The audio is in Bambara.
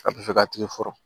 A bɛ fɛ k'a tigi fo